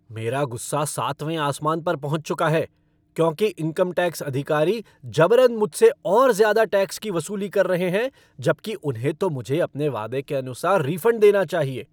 मेरा गुस्सा सातवें आसमान पर पहुँच चुका है क्योंकि इनकम टैक्स अधिकारी जबरन मुझसे और ज़्यादा टैक्स की वसूली कर रहे हैं, जबकि उन्हें तो मुझे अपने वादे के अनुसार रिफ़ंड देना चाहिए।